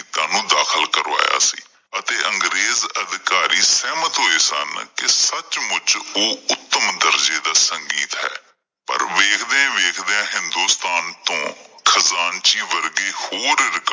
ਨੂੰ ਦਾਖਲ ਕਰਵਾਇਆ ਸੀ ਅਤੇ ਅੰਗਰੇਜ਼ ਅਧਿਕਾਰੀ ਸਹਿਮਤ ਹੋਏ ਸਨ ਕਿ ਸੱਚਮੁੱਚ ਉਹ ਉੱਤਮ ਦਰਜੇ ਦਾ ਸੰਗੀਤ ਹੈ, ਪਰ ਵੇਖਦਿਆਂ ਵੇਖਦਿਆਂ ਹਿੰਦੋਸਤਾਨ ਤੋਂ ਖ਼ਜ਼ਾਨਚੀ ਵਰਗੇ ਹੋਰ record